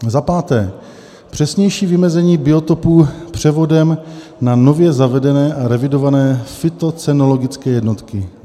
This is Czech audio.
Za páté, přesnější vymezení biotopů převodem na nově zavedené a revidované fytocenologické jednotky.